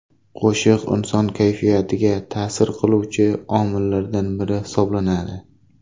Qo‘shiq inson kayfiyatiga ta’sir qiluvchi omillardan biri hisoblanadi.